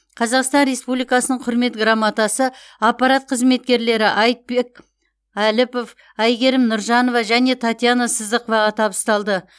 қазақстан республикасының құрмет грамотасы аппарат қызметкерлері айтбек әліпов айгерім нұржанова және татьяна сыздықоваға табысталды